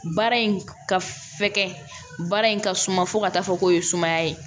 Baara in ka f fɛgɛ baara in ka suma fo ka taa fɔ k'o ye sumaya ye